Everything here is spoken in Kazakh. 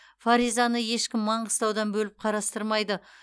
фаризаны ешкім маңғыстаудан бөліп қарастырмайды